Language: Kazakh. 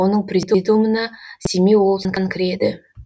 оның президиумына семей облысынан кіреді